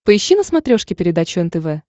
поищи на смотрешке передачу нтв